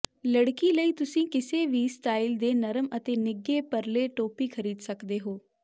ਲੜਕੀ ਲਈ ਤੁਸੀਂ ਕਿਸੇ ਵੀ ਸਟਾਈਲ ਦੇ ਨਰਮ ਅਤੇ ਨਿੱਘੇ ਪਰਲੇ ਟੋਪੀ ਖਰੀਦ ਸਕਦੇ ਹੋ